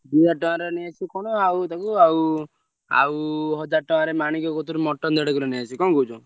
ତିନିହଜାର ଟଙ୍କାରେ ନେଇଆସିବୁ କଣ ଆଉ ତାକୁ ଆଉ ଆଉ ହଜାର ଟଙ୍କାରେ ମାଣିକ କତିରୁ mutton ଦେଢ କିଲେ ନେଇଆସିବୁ କଣ କହୁଛ?